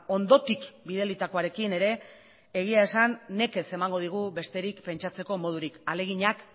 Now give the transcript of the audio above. hondotik bidalitakoarekin ere egia esan nekez emango digu besterik pentsatzeko modurik ahaleginak